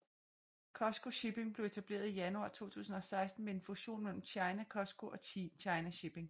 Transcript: COSCO Shipping blev etableret i januar 2016 ved en fusion mellem China COSCO og China Shipping